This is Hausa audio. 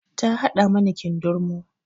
Ta haɗa mana kindirmo